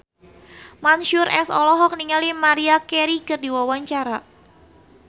Mansyur S olohok ningali Maria Carey keur diwawancara